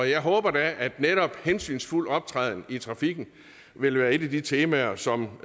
jeg håber da at netop hensynsfuld optræden i trafikken vil være et af de temaer som